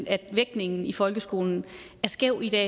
at vægtningen i folkeskolen er skæv i dag